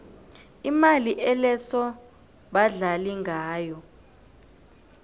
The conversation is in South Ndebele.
imali eloso badlala ngayo